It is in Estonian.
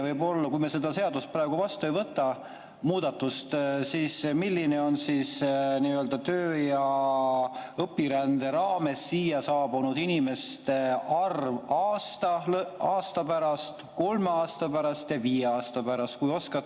Kui me seda seadust praegu vastu ei võta, seda muudatust, siis milline on töö‑ ja õpirände raames siia saabunud inimeste arv aasta pärast, kolme aasta pärast ja viie aasta pärast?